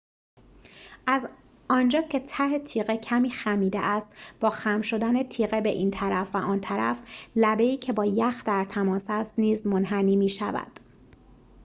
از آنجا که ته تیغه کمی خمیده است با خم شدن تیغه به این طرف و آن طرف لبه ای که با یخ در تماس است نیز منحنی می‌شود